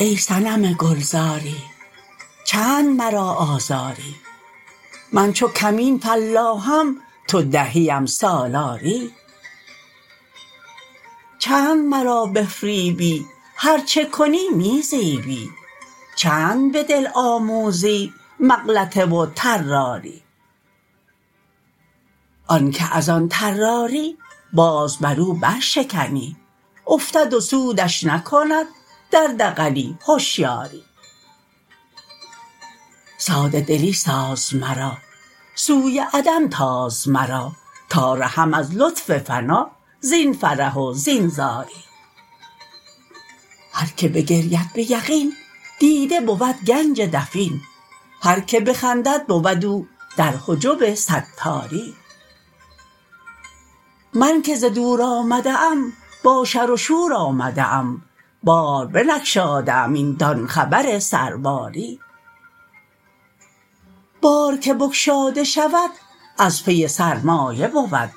ای صنم گلزاری چند مرا آزاری من چو کمین فلاحم تو دهیم سالاری چند مرا بفریبی هر چه کنی می زیبی چند به دل آموزی مغلطه و طراری آن که از آن طراری باز بر او برشکنی افتد و سودش نکند در دغلی هشیاری ساده دلی ساز مرا سوی عدم تاز مرا تا رهم از لطف فنا زین قرح و زین زاری هر کی بگرید به یقین دیده بود گنج دفین هر کی بخندد بود او در حجب ستاری من که ز دور آمده ام با شر و شور آمده ام بازبنگشاده ام این دان خبر سرباری بار که بگشاده شود از پی سرمایه بود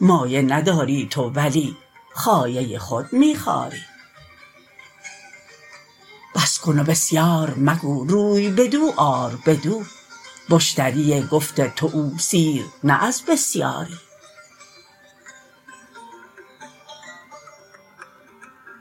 مایه نداری تو ولی خایه خود می خاری بس کن و بسیار مگو روی بدو آر بدو مشتری گفت تو او سیر نه از بسیاری